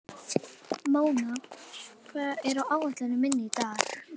Móna, hvað er á áætluninni minni í dag?